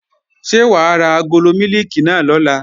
Ṣé wà á ra agolo mílìkì náà lọ̀la?